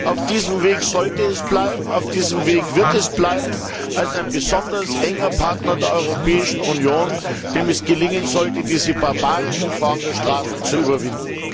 Auf diesem Weg sollte es bleiben, auf diesem Weg wird es bleiben als ein besonders enger Partner der Europäischen Union, dem es gelingen sollte, diese barbarische Form der Strafe zu überwinden.